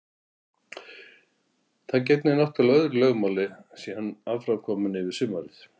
Það gegnir náttúrlega öðru máli sé hann aðkominn yfir sumarið.